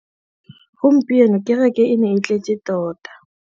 Gompieno kêrêkê e ne e tletse tota.